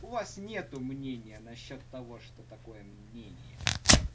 у вас нет мнения насчёт того что такое мнение